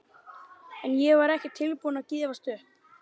En ég var ekki tilbúin að gefast upp.